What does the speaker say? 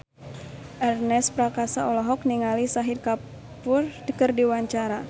Ernest Prakasa olohok ningali Shahid Kapoor keur diwawancara